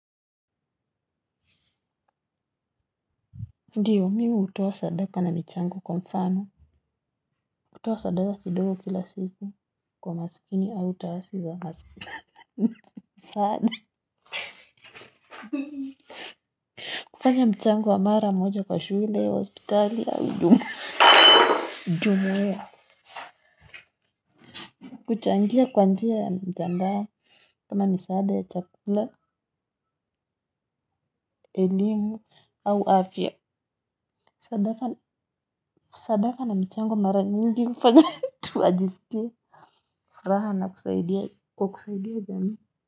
Ndiyo mihutoa sadaka na michango kwa mfano, kutoa sadaka kidogo kila siku kwa masikini au utawasi za masikini, saada. Kufanya mchango wa mara moja kwa shule, hospitali, au jumuhia. Kuchangia kwa njia ya mtandao kama misaada ya chakula, elimu, au afya, sadaka na michango mara nyingi hufanya tuajisikia. Raha na kusaidia kwa kusaidia jamii.